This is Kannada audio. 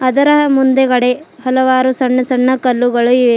ಅದರ ಮುಂದುಗಡೆ ಹಲವಾರು ಸಣ್ಣ ಸಣ್ಣ ಕಲ್ಲುಗಳು ಇವೆ.